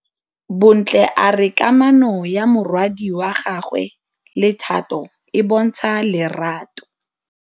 Bontle a re kamanô ya morwadi wa gagwe le Thato e bontsha lerato.